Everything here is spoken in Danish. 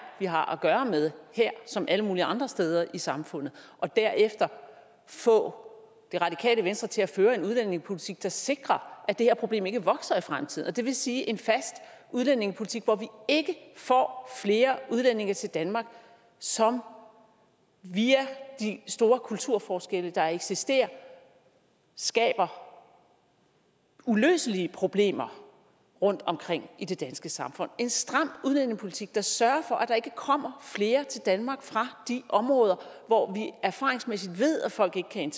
vi har at gøre med her som alle mulige andre steder i samfundet og derefter få det radikale venstre til at føre en udlændingepolitik der sikrer at det her problem ikke vokser i fremtiden det vil sige at en fast udlændingepolitik hvor vi ikke får flere udlændinge til danmark som via de store kulturforskelle der eksisterer skaber uløselige problemer rundtomkring i det danske samfund en stram udlændingepolitik der sørger for at der ikke kommer flere til danmark fra de områder hvor vi erfaringsmæssigt ved at folk ikke kan